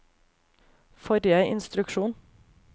forrige instruksjon